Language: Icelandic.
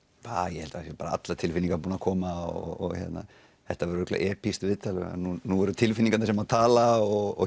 ég held það séu bara allar tilfinningar búnar að koma og þetta verður örugglega viðtal því nú eru það tilfinningarnar sem tala og